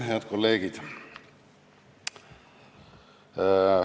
Head kolleegid!